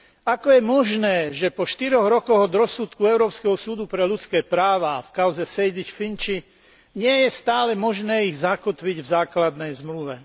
Ako je možné, že po štyroch rokoch od rozsudku Európskeho súdu pre ľudské práva a v kauze Sejdic a Finci nie je stále možné ich zakotviť v základnej zmluve?